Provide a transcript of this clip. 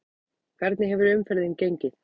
Hvernig hefur umferðin gengið?